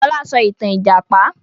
Fọlá sọ ìtàn ìjàpá!